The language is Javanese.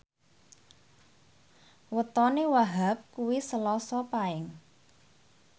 wetone Wahhab kuwi Selasa Paing